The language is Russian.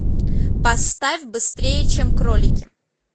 поставь быстрее чем кролики